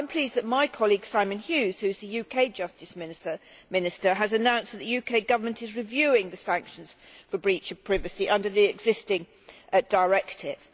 I am pleased that my colleague Simon Hughes, who is the UK Justice Minister, has announced that the UK Government is reviewing the sanctions for breach of privacy under the existing directive.